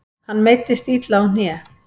Hann meiddist illa á hné.